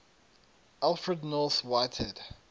alfred north whitehead